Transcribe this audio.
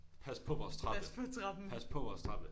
Pas på vores trappe. Pas på vores trappe